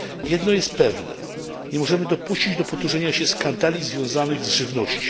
Jedno jest pewne nie możemy dopuścić do powtórzenia się skandali związanych z żywnością.